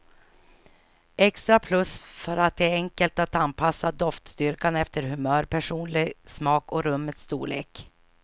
Extra plus för att det var enkelt att anpassa doftstyrkan efter humör, personlig smak och rummets storlek.